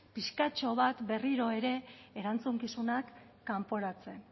pixkatxo bat berriro ere erantzukizunak kanporatzea